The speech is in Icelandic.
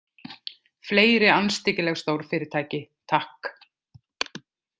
Fleiri andstyggileg stórfyrirtæki, takk!